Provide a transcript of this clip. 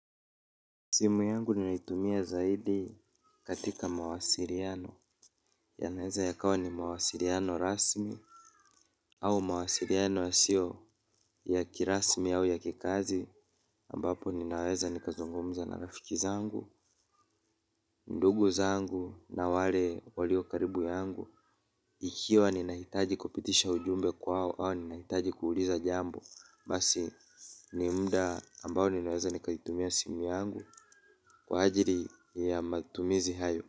Simu yangu ni naitumia zaidi katika mawasiliano ya naweza ya kawa ni mawasiliano rasmi au mawasiliano yasio ya kirasmi au ya kikazi ambapo ninaweza nikazungumza na rafiki zangu ndugu zangu na wale walio karibu yangu ikiwa ninahitaji kupitisha ujumbe kwao au ninahitaji kuuliza jambo basi nimuda ambao ninaweza nikaitumia simu yangu kwa ajiri ya matumizi hayo.